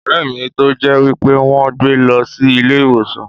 O rè mi tó jẹ́ wípé wón gbé mi lọ sí ilé ìwòsàn.